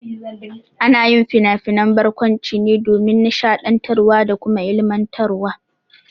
Ana yin finafinan barkwanci ne domin nishaɗiantarwa da kuma ilmantarwa.